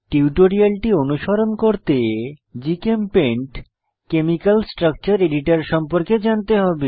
টিউটোরিয়ালটি অনুসরণ করতে জিচেমপেইন্ট কেমিকাল স্ট্রাকচার এডিটর সম্পর্কে জানতে হবে